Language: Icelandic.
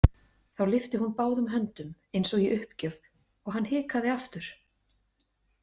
Þá lyfti hún báðum höndum eins og í uppgjöf og hann hikaði aftur.